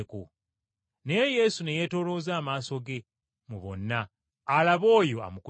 Naye Yesu ne yeetoolooza amaaso ge mu bonna alabe oyo amukutteko.